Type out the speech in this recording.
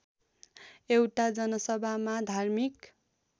एउटा जनसभामा धार्मिक